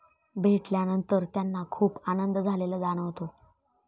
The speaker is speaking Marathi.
भेटल्यानंतर त्यांना खूप आनंद झालेला जाणवतो.